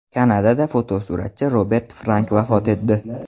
Kanadada fotosuratchi Robert Frank vafot etdi .